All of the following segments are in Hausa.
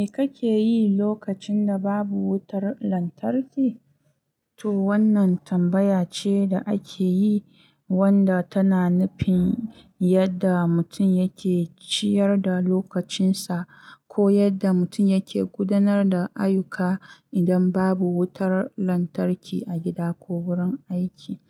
Me kake yi lokacin da babu wutar lantarki? To wannan tambaya ce da ake yi wanda tana nufin yadda mutum yake ciyar da lokacinsa ko yadda mutum yake gudanar da ayyuka idan babu wutar lantarki a gida ko wurin aiki.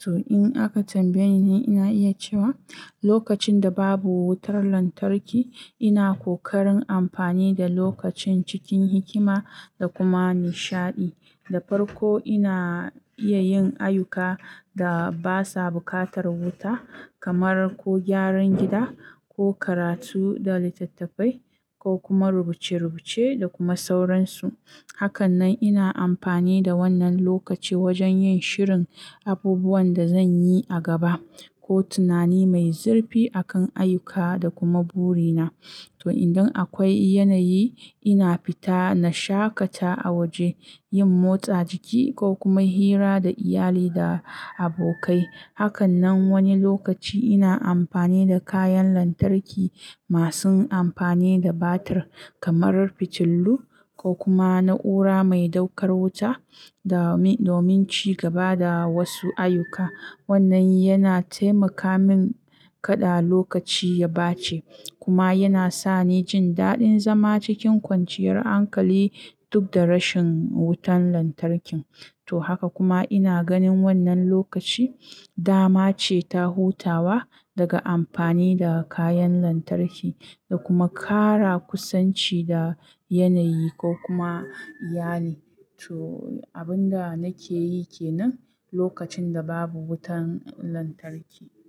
To in aka tambaye ni, ina iya cewa lokacin da babu wutar lantarki, ina kokarin amfani da lokacin cikin hikima da kuma nishaɗi. Da farko, ina iya yin ayyuka da basa buƙatar wuta kamar ko gyaran gida ko karatu da littattafai ko kuma rubuce-rubuce da kuma sauransu. Hakanan ina amfani da wannan lokaci wajen yin shirin abubuwan da zan yi a gaba ko tunani mai zurfi a kan ayyuka da kuma buri na. To idan akwai yanayi, ina fita na shaƙata a waje, yin motsa jiki ko kuma hira da iyali da abokai. Hakanan wani lokaci ina amfani da kayan lantarki masu amfani da batir kamar fitillu ko kuma na'ura mai ɗaukar wuta do-domin ci gaba da wasu ayyuka. Wannan yana taimaka min kaɗa lokaci ya bace kuma yana sani jin daɗin zama cikin kwanciyar hankali duk da rashin wutan lantarkin. To haka kuma ina ganin wannan lokaci dama ce ta hutawa daga amfani da kayan lantarki da kuma ƙara kusanci da yanayi ko kuma iyali. To abin da nake yi kenan lokacin da babu wutan lantarki.